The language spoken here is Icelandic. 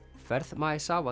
ferð